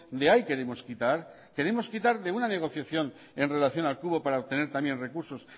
de ahí queremos quitar queremos quitar de una negociación en relación al cubo para obtener también recursos